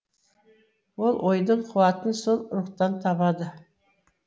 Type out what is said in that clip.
ол ойдың қуатын сол рухтан табады